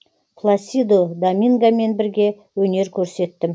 пласидо домингомен бірге өнер көрсеттім